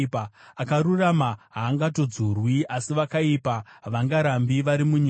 Akarurama haangatongodzurwi, asi vakaipa havangarambi vari munyika.